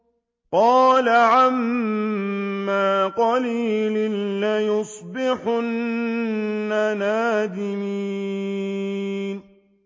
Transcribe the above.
قَالَ عَمَّا قَلِيلٍ لَّيُصْبِحُنَّ نَادِمِينَ